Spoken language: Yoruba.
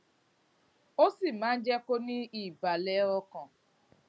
ó sì máa ń jé kó ní ìbàlè ọkàn